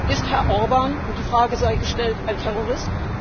Ist Herr Orbán und die Frage sei gestellt ein Terrorist?